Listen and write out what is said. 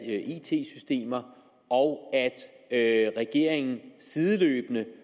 it systemer og at regeringen sideløbende